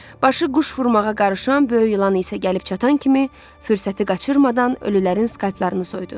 Başı quş vurmağa qarışan böyük ilan isə gəlib çatan kimi fürsəti qaçırmadan ölülərin skalplarını soydu.